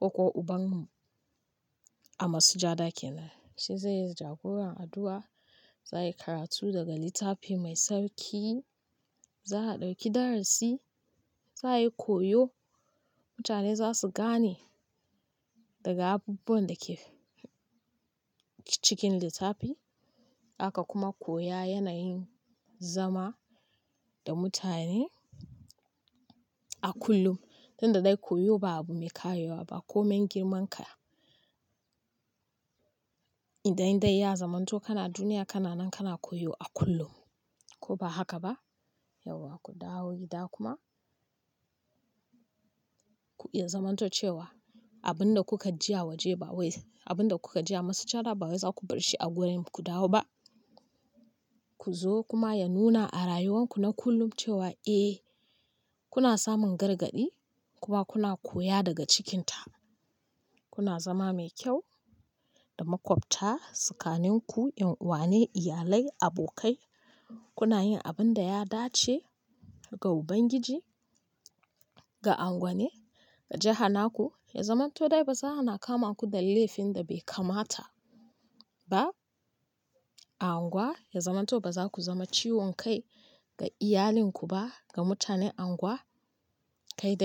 ko ko uban mu a masujada kenan. Shi zai yi jagoran addu'a, za a yi karatu daga littafi mai tsarki, za a ɗauki darasi, za a yi koyo, mutane za su gane daga abubuwan da ke cikin littafi. Haka kuma koya yanayin zama da mutane a kullum. Tunda dai koyo ba abu mai karewa ba komai girman ka inda dai ya zamanto kana duniya, kana nan kana koyo a kullum ko ba haka ba? Yauwa ku dawo gida kuma kuma ya zamanto cewa abun da kuka ji a wajen ba wai abun da kuka ji a masujada ba wai za ku bar shi a gurin ku dawo ba. Ku zo kuma ya nuna a rayuwanku na kullum cewa eh kuna samun gargaɗi kuma kuna koya daga cikinta. Kuna zama mai kyau da maƙwabta, tsakanin ku, ’yan uwa ne, iyalai, abokai. Kuna yin abin da ya dace ga Ubangiji, ga unguwane, ga jaha naku. Ya zamanto dai baza a na kama ku da laifin da bai kamata ba a unguwa. Ya zamanto baza ku zama ciwon kai ga iyalinku ba, ga mutanen unguwa, kai dai.